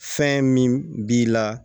Fɛn min b'i la